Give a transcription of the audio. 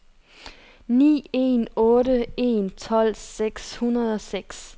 ni en otte en tolv seks hundrede og seks